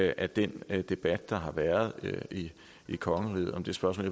af den debat der har været i kongeriget om det spørgsmål